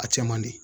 A cɛ man di